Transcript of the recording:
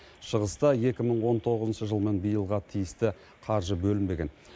шығыста екі мың он тоғызыншы жыл мен биылғы тиісті қаржы бөлінбеген